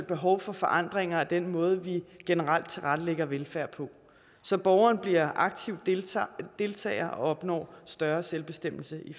behov for forandringer af den måde vi generelt tilrettelægger velfærd på så borgeren bliver aktiv deltager deltager og opnår større selvbestemmelse i